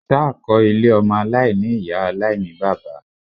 Ṣá kọ́ ilé ọmọ aláìní-Ìyá aláìní-bàbá.?